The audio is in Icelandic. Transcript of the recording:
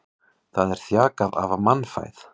Það er þjakað af mannfæð.